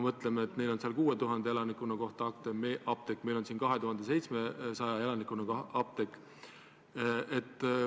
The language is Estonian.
Neil on seal 6000 elaniku kohta üks apteek, meil on siin 2700 elaniku kohta üks apteek.